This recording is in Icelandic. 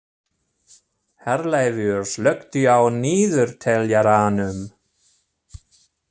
Herleifur, slökktu á niðurteljaranum.